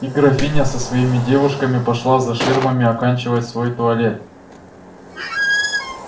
и графиня со своими девушками пошла за ширмами оканчивать свой туалет